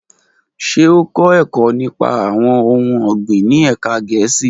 Ṣe o kọ ẹkọ nipa awọn ohun ọgbin ni ẹka Gẹẹsi?